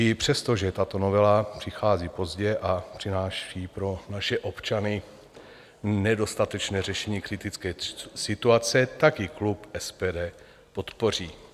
I přesto, že tato novela přichází pozdě a přináší pro naše občany nedostatečné řešení kritické situace, tak ji klub SPD podpoří.